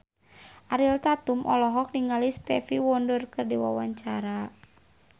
Ariel Tatum olohok ningali Stevie Wonder keur diwawancara